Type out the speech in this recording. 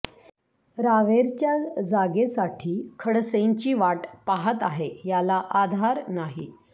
रावेरच्या जागेसाठी खडसेंची वाट पाहत आहे याला आधार नाही